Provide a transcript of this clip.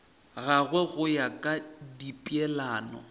gagwe go ya ka dipeelano